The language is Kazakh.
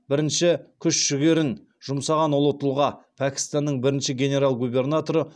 бірінші күш жігерін жұмсаған ұлы тұлға пәкістанның бірінші генерал губернаторы